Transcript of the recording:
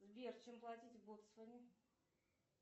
сбер чем платить в ботсване